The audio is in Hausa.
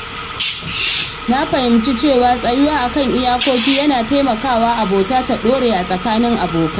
Na fahimci cewa tsayuwa a kan iyakoki yana taimaka wa abota ta ɗore a tsakanin abokai.